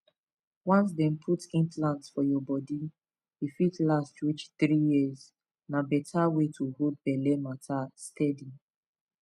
once dem put implant for your body e fit last reach three years na better way to hold belle matter steady